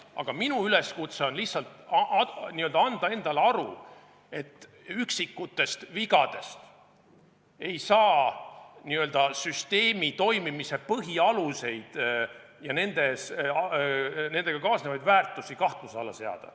Aga minu üleskutse on lihtsalt anda endale aru, et üksikutest vigadest ei saa süsteemi toimimise põhialuseid ja nendega kaasnevaid väärtusi kahtluse alla seada.